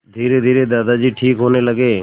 धीरेधीरे दादाजी ठीक होने लगे